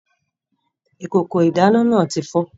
Ìkòkò ìdáná náà tí fọ́